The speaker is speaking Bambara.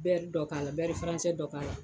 dɔ k'a dɔ k'a la